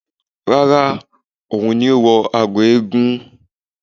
Rárá, òun ni ó wọ agọ̀ eégún